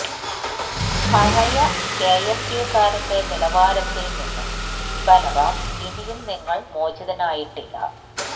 പഴയ കെഎസ്യുക്കാരന്റെ നിലവാരത്തില് നിന്നും ബല്റാം ഇനിയും നിങ്ങള് മോചിതനായിട്ടില്ല